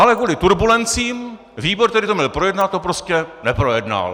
Ale kvůli turbulencím výbor, který to měl projednat, to prostě neprojednal.